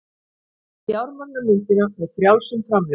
Fjármagna myndina með frjálsum framlögum